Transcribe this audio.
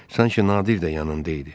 Sanki Nadir də yanında idi.